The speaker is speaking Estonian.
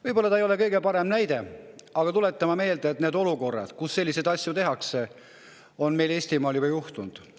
Võib-olla ei ole see kõige parem näide, aga tuletame meelde, et olukordi, kus selliseid asju tehakse, on Eestimaal juba olnud.